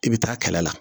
I bɛ taa kɛlɛ la